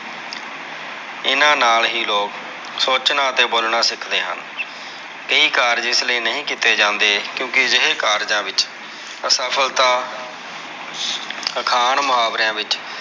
ਇਹਨਾਂ ਨਾਲ ਹੀ ਲੋਗ ਸੋਚਣਾ ਅਤੇ ਬੋਲਣਾ ਸਿੱਖਦੇ ਹਨ ਇਹ ਕਾਰਜ ਇਸ ਲਯਈਂ ਨਹੀਂ ਕੀਤੇ ਜਾਂਦੇ ਕਿਓਂਕਿ ਅਜਿਹੇ ਕਾਰਜਾਂ ਵਿਚ ਅਸਫਲਤਾ ਅਖਾਣ ਮੁਹਾਵਰਿਆਂ ਵਿਚ।